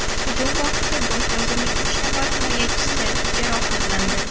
Hujum vaqtida bosh vazirning uch nafar himoyachisi jarohatlandi.